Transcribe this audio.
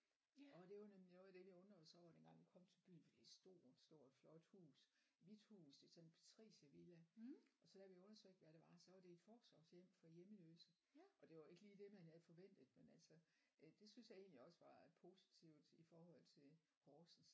Og det var nemlig noget af det vi undrede os over dengang vi kom til byen for det er et stort stort flot hus hvidt hus det er sådan en patriciervilla og så da vi undersøgte hvad det var så var det et forsorgshjem for hjemløse og det var ikke lige det man havde forventet men altså det synes jeg egentlig også var positivt i forhold til Horsens